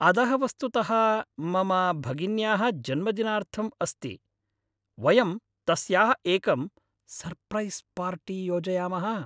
अदः वस्तुतः मम भगिन्याः जन्मदिनार्थम् अस्ति वयं तस्याः एकं सर्प्रैस् पार्टी योजयामः।